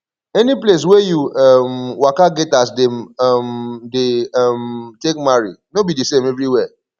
any place wey you um waka get as dem um dey um take marry no be de same everywhere